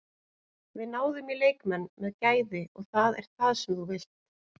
Við náðum í leikmenn með gæði og það er það sem þú vilt.